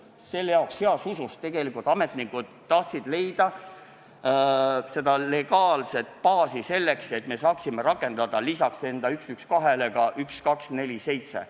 Selle jaoks ja heas usus tegelikult ametnikud tahtsid saada legaalset baasi, et rakendada lisaks numbrile 112 ka numbrit 1247.